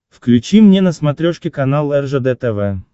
включи мне на смотрешке канал ржд тв